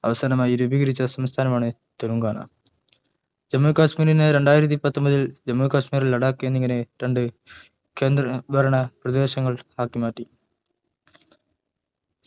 അവസാനമായി രൂപീകരിച്ച സംസ്ഥാനമാണ് തെലുങ്കാന ജമ്മു കശ്‍മീരിനെ രണ്ടായിരത്തി പത്തൊമ്പതിൽ ജമ്മു കശ്‍മീർ ലഡാക് എന്നിങ്ങനെ രണ്ട കേന്ദ്രഭരണ പ്രദേശങ്ങൾ ആക്കി മാറ്റി